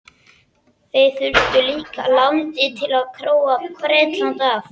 Þeir þurfa líka landið til að króa Bretland af.